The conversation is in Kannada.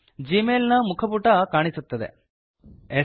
ಜೀ ಮೇಲ್ ನ ಮುಖ ಪುಟ ಹೋಮ್ ಪೇಜ್ ಕಾಣಿಸುತ್ತದೆ